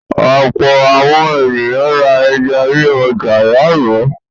Ọ̀pọ̀ àwọn ènìyàn ra ẹja ní ọjà lánàá.